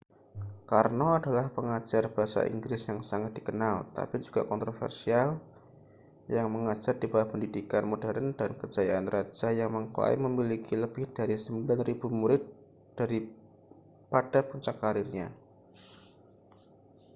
karno adalah pengajar bahasa inggris yang sangat dikenal tapi juga kontroversial yang mengajar di bawah pendidikan modern dan kejayaan raja yang mengklaim memiliki lebih dari 9.000 murid pada puncak karirnya